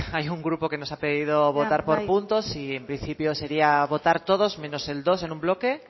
hay un grupo que nos ha pedido votar por puntos y en principio sería votar todos menos el dos en un bloque